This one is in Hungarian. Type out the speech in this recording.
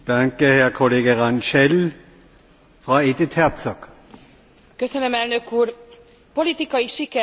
Politikai siker, hogy hosszú vajúdás után az alapítók szellemének megfelelően az Unió építésének irányába léptek.